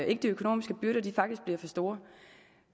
ikke de økonomiske byrder faktisk bliver for store